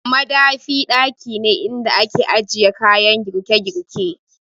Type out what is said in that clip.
Madafi ɗaki ne inda ake ajiye kayan girke- girke